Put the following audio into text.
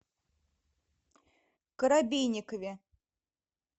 коробейникове